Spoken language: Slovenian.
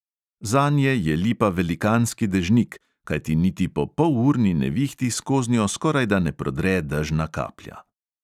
Zanje je lipa velikanski dežnik, kajti niti po polurni nevihti skoznjo skorajda ne prodre dežna kaplja.